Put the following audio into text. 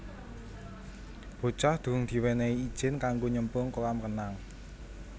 Bocah durung diwenehi ijin kanggo nyemplung kolam renang